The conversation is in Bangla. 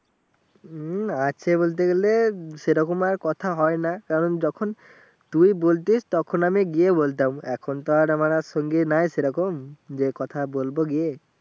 হম আছে বলতে গেলে সেরকম আর কথা হয়না কারণ যখন তুই বলতিস তখন আমি গিয়ে বলতাম এখন তো আর আমার আর সঙ্গি নাই সেরকম যে কথা বলবো গিয়ে